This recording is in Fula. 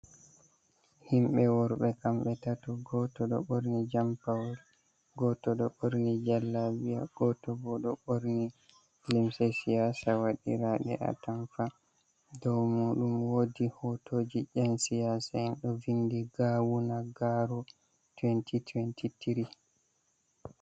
Himɓe worɓe, kamɓe tato, goto ɗo ɓorni jampawo, goto ɗo ɓorni jallabiya, goto bo ɗo ɓorni limse shiyasa wadirade a tampa, doo muɗum woodi hotoji nyan siyasa en ɗo vinɗi gawuna garo 2023.